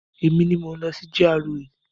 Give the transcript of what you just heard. Emi ni mò ń lọ sí GRA.